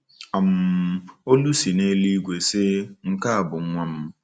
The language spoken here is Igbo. um Olu si n’eluigwe sị, nke a bụ Nwa m